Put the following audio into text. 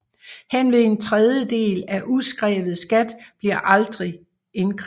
Henved en tredjedel af udskrevet skat bliver aldrig indkrævet